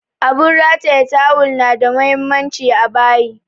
Abun rataya tawul na da muhimmanci a bayi